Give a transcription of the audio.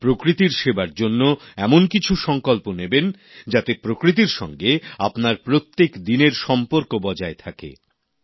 আর প্রকৃতির সেবার জন্য এমন কিছু সংকল্প নেবেন যাতে প্রকৃতির সঙ্গে আপনার প্রত্যেক দিনের সম্পর্ক বজায় থাকে